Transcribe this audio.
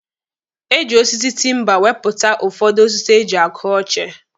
Eji osisi tima wepụta ụfọdụ osisi eji akụ oche.